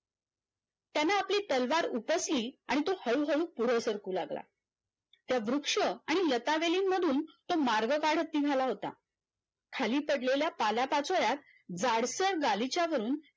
आपली तलवार उपसली आणि तो हळू हळू पुढे सरकू लागला त्या वृक्ष आणि लतावेली मधून तो मार्ग काढत निघाला होता खाली पडलेल्या पालापाचोळ्यात जडसर गालिच्यावरून